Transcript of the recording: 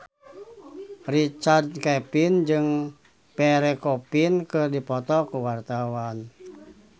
Richard Kevin jeung Pierre Coffin keur dipoto ku wartawan